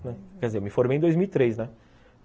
Quer dizer, eu me formei em dois mil e três, né.